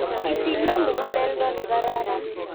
Itinye mukuleldo ne kararan.